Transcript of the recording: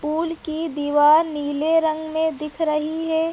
Pool की दीवाल नीले रंग में दिख रही है।